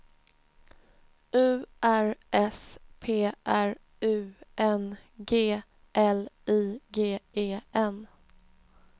U R S P R U N G L I G E N